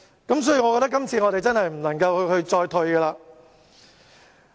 因此，我覺得這次我們真的不能再退讓了。